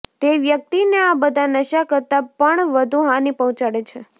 જે વ્યક્તિને આ બધા નશા કરતાં પણ વધુ હાનિ પહોંચાડે છે